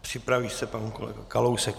Připraví se pan kolega Kalousek.